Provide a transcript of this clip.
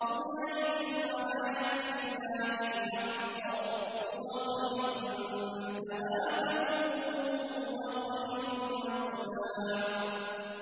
هُنَالِكَ الْوَلَايَةُ لِلَّهِ الْحَقِّ ۚ هُوَ خَيْرٌ ثَوَابًا وَخَيْرٌ عُقْبًا